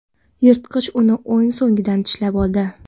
Yirtqich uni o‘ng sonidan tishlab oldi.